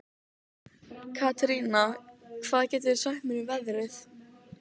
Katerína, hvað geturðu sagt mér um veðrið?